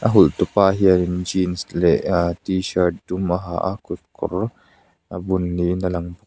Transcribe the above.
a hawlhtu pa hian in jeans leh aah t shirt dum a ha a kutkawr a bun niin a lang--